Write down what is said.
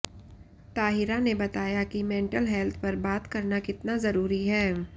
ताहिरा ने बताया कि मेंटल हेल्थ पर बात करना कितना जरूरी है